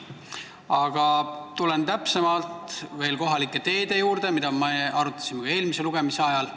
Aga tulen veel täpsemalt kohalike teede juurde, mida me arutasime ka eelmise lugemise ajal.